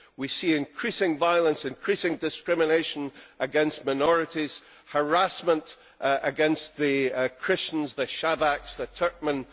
We see increasing violence and increasing discrimination against minorities, harassment against the Christians, the Shabaks, the Turkmen.